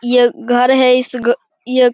ये घर है। इस घर यह --